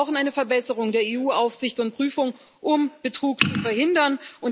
Wir brauchen eine Verbesserung der EU Aufsicht und Prüfung, um Betrug zu verhindern.